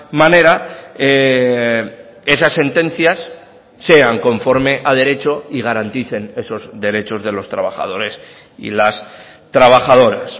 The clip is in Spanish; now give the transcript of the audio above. manera esas sentencias sean conforme a derecho y garanticen esos derechos de los trabajadores y las trabajadoras